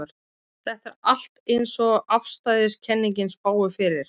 Þetta er allt eins og afstæðiskenningin spáir fyrir.